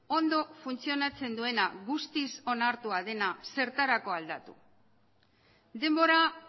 ondo funtzionatzen duena guztiz onartua dena zertarako aldatu denbora